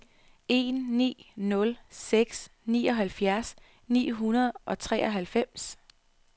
en ni nul seks nioghalvfjerds ni hundrede og treoghalvfems